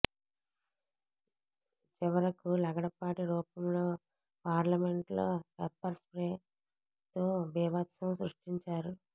చివరకు లగడపాటి రూపంలో పార్లమెంట్ లో పెప్పర్ స్ర్పే తో బీభత్సం సృష్టించారు